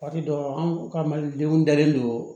Waati dɔ an ka malidenw dalen don